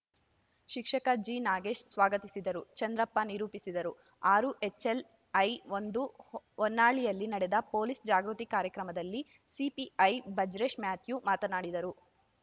ಶಿಕ್ಷಕ ಜಿನಾಗೇಶ್‌ ಸ್ವಾಗತಿಸಿದರು ಚಂದ್ರಪ್ಪ ನಿರೂಪಿಸಿದರು ಆರು ಎಚ್‌ಎಲ್‌ಐ ಒಂದು ಹೊನ್ನಾಳಿಯಲ್ಲಿ ನಡೆದ ಪೊಲೀಸ್‌ ಜಾಗೃತಿ ಕಾರ್ಯಕ್ರಮದಲ್ಲಿ ಸಿಪಿಐ ಬಜರೇಶ್ ಮ್ಯಾಥ್ಯೂ ಮಾತನಾಡಿದರು